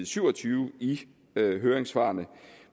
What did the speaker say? syv og tyve i høringssvarene